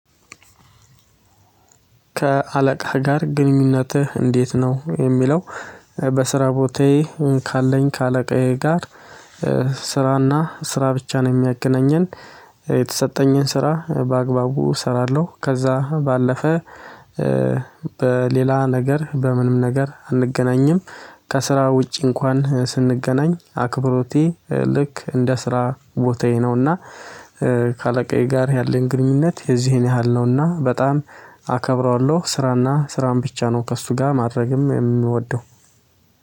ከአለቃህ ጋር ግንኙነትህ እንዴት ነው? የሚለው በስራ ቦታዬ ካለኝ ከአለቃዬ ጋር ስራና ስራ ብቻ ነው የሚያገናኘን። የተሰጠኝን ስራ በአግባቡ እሰራለሁ ከዛ ባለፈ። በሌላ ነገር በምንም ነገር አንገናኝም። ከስራ ውጪ እንኳን ስንገናኝ አክብሮቴ ልክ እንደ ስራ ቦታዬ ነውና። ከአለቃዬ ጋር ያለኝ ግንኙነት የዚህን ያህል ነውና በጣም አከብረዋለሁ። ስራና ስራን ብቻ ነው ከእሱ ጋር ማድረግም የምወደው።